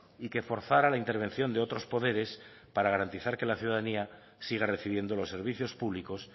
y que forzara la intervención de otros poderes para garantizar que la ciudadanía siga recibiendo los servicios públicos